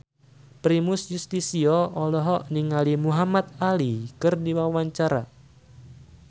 Primus Yustisio olohok ningali Muhamad Ali keur diwawancara